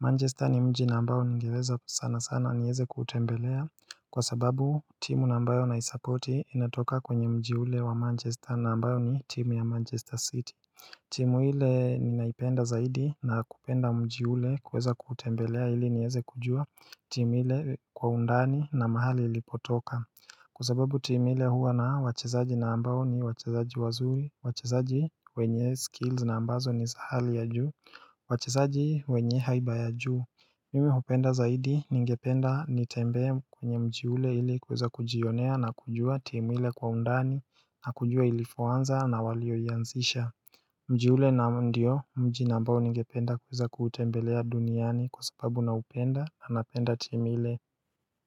Manchester ni mji na ambao nigeweza sana sana nieze kutembelea Kwa sababu timu na ambayo na isapoti inatoka kwenye mji ule wa Manchester na mbao ni timu ya Manchester city timu ile ninaipenda zaidi na kupenda mji ule kuweza kutembelea hili nieze kujua timu ile kwa undani na mahali ilipotoka kwa sababu timu ile huwa na wachezaji na ambao ni wachezaji wazuri, wachezaji wenye skills na ambazo ni za hali ya juu, wachezaji wenye haiba ya juu Mimi napenda zaidi ningependa nitembee kwenye mji ule ili kuweza kujionea na kujua timu ile kwa undani na kujua ilivyoanza na waliyoianzisha Mji ule na ndio mji na ambao ningependa kuweza kuutembelea duniani kwa sababu na upenda na napenda timu ile.